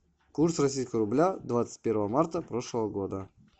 курс российского рубля двадцать первого марта прошлого года